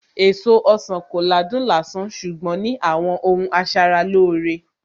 Èso ọsàn kò ládùn lásán ṣùgbọ́n ní àwọn ohun asaralóore